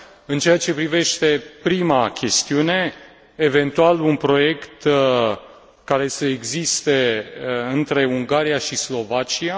În ceea ce privește prima chestiune, eventual un proiect care să existe între Ungaria și Slovacia.